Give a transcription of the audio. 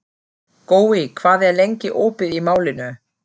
Gói, hvað er lengi opið í Málinu?